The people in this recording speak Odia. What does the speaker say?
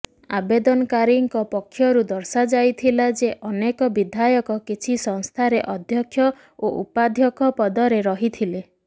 ଆବେଦନକାରୀଙ୍କ ପକ୍ଷରୁ ଦର୍ଶାଯାଇଥିଲା ଯେ ଅନେକ ବିଧାୟକ କିଛି ସଂସ୍ଥାରେ ଅଧ୍ୟକ୍ଷ ଓ ଉପାଧ୍ୟକ୍ଷ ପଦରେ ରହିଥିଲେ